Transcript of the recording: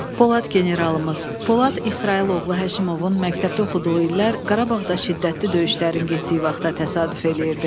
Polad generalımız Polad İsrayıl oğlu Həşimovun məktəbdə oxuduğu illər Qarabağda şiddətli döyüşlərin getdiyi vaxta təsadüf eləyirdi.